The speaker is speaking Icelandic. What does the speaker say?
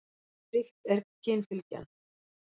Ríkt er kynfylgjan.